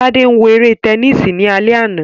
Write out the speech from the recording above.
Tade wo ere tẹnisi ni alẹ ana